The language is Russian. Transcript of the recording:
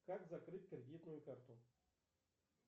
как закрыть кредитную карту